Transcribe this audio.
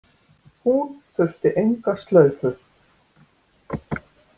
Hún þurfti enga slaufu.